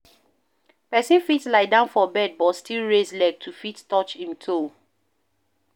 Person fit lie down for bed but still raise leg to fit touch im toe